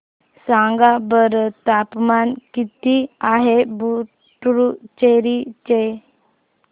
सांगा बरं तापमान किती आहे पुडुचेरी चे